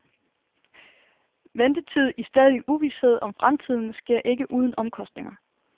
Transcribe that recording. Ventetid i stadig uvished om fremtiden sker ikke uden omkostninger.